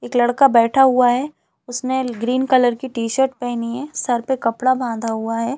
एक लड़का बैठा हुआ है उसने ग्रीन कलर की टी_शर्ट पहनी है सर पे कपड़ा बाँधा हुआ हैं।